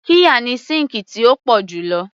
Qirya ni síǹkì tí ó pọ̀ jù lo